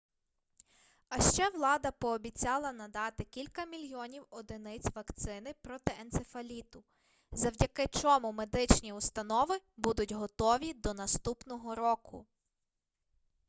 а ще влада пообіцяла надати кілька мільйонів одиниць вакцини проти енцефаліту завдяки чому медичні установи будуть готові до наступного року